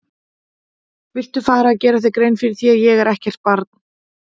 Viltu fara að gera þér grein fyrir því að ég er ekkert barn!